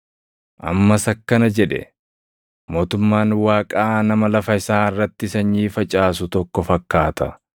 Ammas akkana jedhe; “Mootummaan Waaqaa nama lafa isaa irratti sanyii facaasu tokko fakkaata.